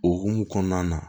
O hukumu kɔnɔna na